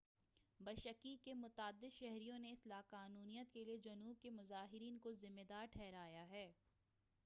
Bishkek کے متعدد شہریوں نے اس لاقانونیت کیلئے جنوب کے مظاہرین کو ذمہ دار ٹھہرایا ہے